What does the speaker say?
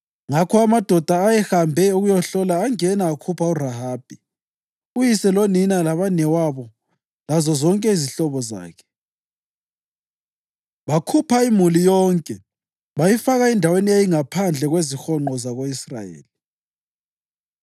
Ngakho amadoda ayahambe ukuyahlola angena akhupha uRahabi, uyise lonina labanewabo lazozonke izihlobo zakhe. Bakhupha imuli yonke bayifaka endaweni eyayingaphandle kwezihonqo zako-Israyeli.